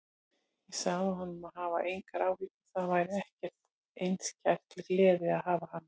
Ég sagði honum að hafa engar áhyggjur, það væri okkur einskær gleði að hafa hana.